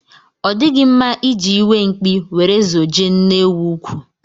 Ọ dịghị mma iji iwe mkpi were zojie nne ewu úkwú.